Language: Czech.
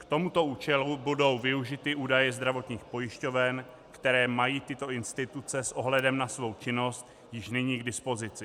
K tomuto účelu budou využity údaje zdravotních pojišťoven, které mají tyto instituce s ohledem na svou činnost již nyní k dispozici.